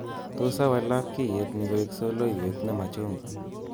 Tos awal labkyet ni koek soloiwet nee machugwaa